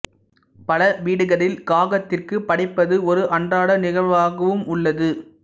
பல வீடுகளில் காகத்திற்கு படைப்பது ஓர் அன்றாட நிகழ்வாகவும் உள்ளது